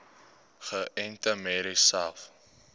geënte merries selfs